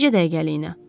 Bircə dəqiqəliyinə.